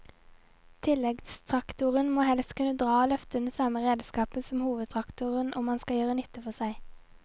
Tilleggstraktoren må helst kunne dra og løfte den samme redskapen som hovedtraktoren om han skal gjøre nytte for seg.